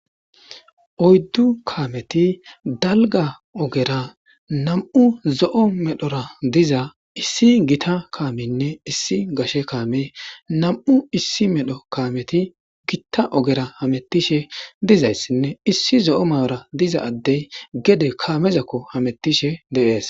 Oyddu kaameti dalga ogera nam7u zo7o medhora diza issi gita kaameynne issi gashe kaame nam7u issi medho kaameti gitta ogera hamettishe dizayssinne issi zo7o malora diza addey gede kaamezakko hamettishe deees.